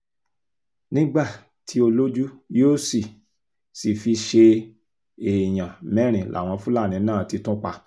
nígbà tí olójú yóò sì sì fi ṣe é èèyàn mẹ́rin làwọn fúlàní náà ti tún pa